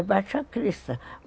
É, Baixacrista.